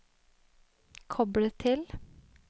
koble til